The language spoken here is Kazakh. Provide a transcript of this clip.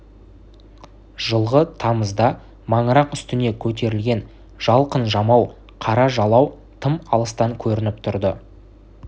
жылғы тамызда маңырақ үстіне көтерілген жалқын жамау қара жалау тым алыстан көрініп тұрды